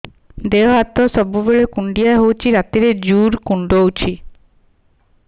ଦେହ ହାତ ସବୁବେଳେ କୁଣ୍ଡିଆ ହଉଚି ରାତିରେ ଜୁର୍ କୁଣ୍ଡଉଚି